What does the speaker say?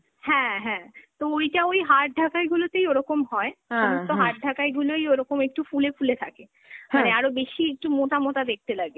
হ্যাঁ হ্যাঁ, তো ওইটা ওই hard ঢাকাইগুলোতেই ওরকম হয়, সমস্ত hard ঢাকাই গুলোই ওরকম একটু ফুলে ফুলে থাকে, মানে আরও বেশি একটু মোটা মোটা দেখতে লাগে।